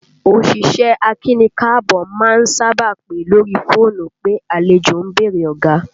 Òṣìṣẹ́ akíni-káàbọ́ má ń sábà pè lórí fóònù pé àlejò ń bèrè ọ̀gá